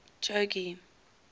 jogee